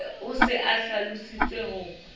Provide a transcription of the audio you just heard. o se a hlalositse ho